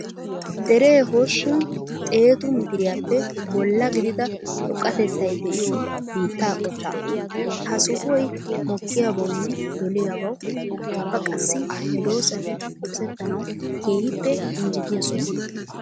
Deree usuppun xeetu miteriyaappe bolla gidida xoqattettay de'iyo biitta qotta. Ha sohoy mokiyabawunne doliyabawu ubbaqassika medosati qosettanawu keehippe injjettiya soho.